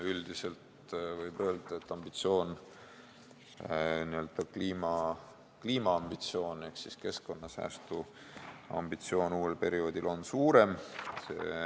Üldiselt võib öelda, et ambitsioon, n-ö kliimaambitsioon ehk siis keskkonnasäästu ambitsioon, on uuel perioodil suurem.